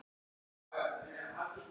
ALLT MJÖG ÓDÝRT!